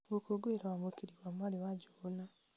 gũkũngũĩra wamũkĩri wa mwarĩ wa njũgũna